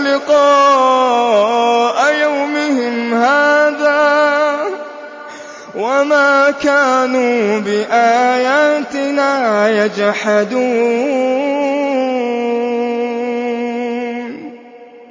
لِقَاءَ يَوْمِهِمْ هَٰذَا وَمَا كَانُوا بِآيَاتِنَا يَجْحَدُونَ